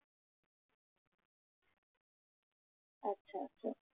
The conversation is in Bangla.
আচ্ছা, আচ্ছা